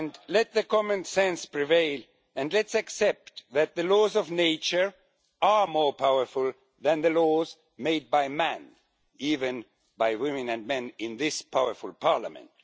Let common sense prevail and let's accept that the laws of nature are more powerful than the laws made by man, even by women and men in this powerful Parliament.